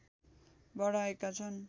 बढाएका छन्